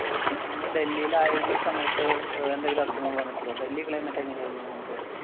നിങ്ങള്‍ ഡൽഹിയില് ആയിരുന്ന സമയത്ത് അഹ് എന്തെങ്കിലും അസുഖങ്ങൾ വന്നിട്ടുണ്ടോ? ഡൽഹി climate എങ്ങനെയായിരുന്നു നിങ്ങള്‍ക്ക്?